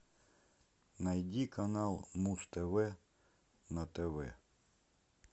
найди канал муз тв на тв